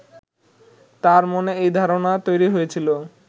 তাঁর মনে এই ধারণা তৈরি হয়েছিল